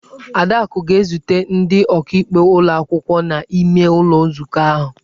Adaku ga-ezute ndị ọkaikpe ụlọ akwụkwọ n'ime ụlọ nzukọ ahụ.